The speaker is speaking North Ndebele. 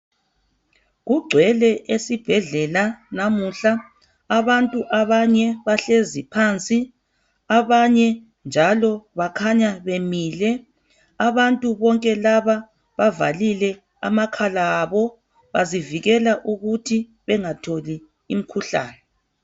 Kugcwele esibhedlela namuhla abantu abanye bahlezi phansi abanye njalo bakhanya bemile. Abantu bonke laba bavalile amakhala abo bazivikela ukuthi bengatholi umkhuhlane.